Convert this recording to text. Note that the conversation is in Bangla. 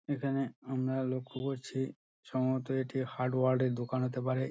এখানে আমরা লক্ষ করছি সম্ভবত এটি হার্ডওয়্যার -এর দোকান হতে পারে।